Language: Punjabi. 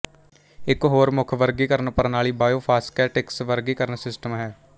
ਇੱਕ ਹੋਰ ਮੁੱਖ ਵਰਗੀਕਰਨ ਪ੍ਰਣਾਲੀ ਬਾਇਓਫਾਸਕੈਟਿਕਸ ਵਰਗੀਕਰਣ ਸਿਸਟਮ ਹੈ